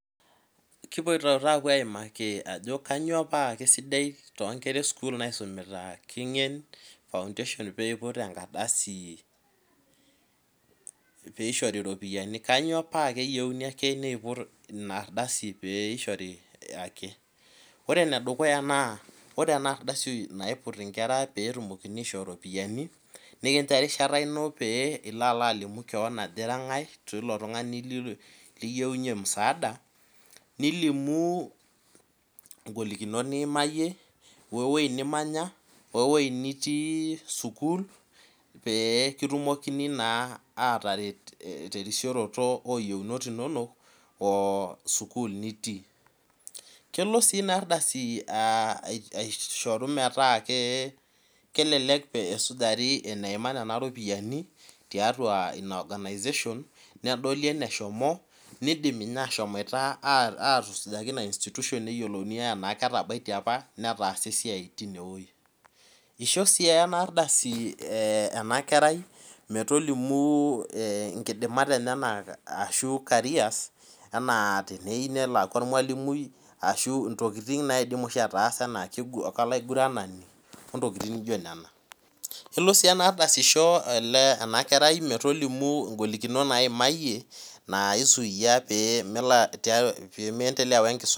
Kipoito taata aimaki ajo kainyoo paa kesidai toonkera esukul naisumita King'en Foundation pee iput engardasi piishori iropiani kainyoo paa keyieu ake neiput ina ardasi peeishori ake Ore enedukuya naa ore ena ardasi naiput inkera peetumokini aishoo oropiyiani nekinjo erishata ino pee ilo alalimu keon ajo ira ng'ae tilo tungani liyieunye musaada nilimu ingolikinot niimayie we Wei nimanya wewei nitii sukuul pee kitumokini naa ataret terisioroto ooyieunot inono oo sukuul nitii Kelo sii ina ardasi aishoru metaa kelelek peesujaari eneima nena ropiyiani tiatua inina organization nedoli eneshimo nidimi nai atusujaki ina institution enaa ketabaitie apa netaasa esiai tinewei Isho aii ena ardasi ena kerai metolimu inkidimat eneyenak ashu carriers enaa teniyieu nelo aaku ormwalimui ashu ntokiting naidim oshi ataasa kolaiguranani ontokiting nijo nena Kelo sii ena ardasi aisho ena kerai metolimu ingolikinot naimayie naisuyia pee melo pee meendelea wenkisuma